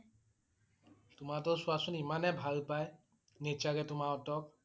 তোমাৰ হঁতৰ চোৱা চোন ইমানেই ভাল পাই । Nature এ তোমাৰ হঁতক